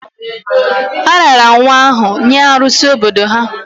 A raara nwa ahụ nye arụsi obodo ha